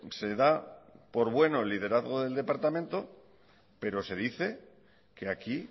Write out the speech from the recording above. se da por bueno el liderazgo del departamento pero se dice que aquí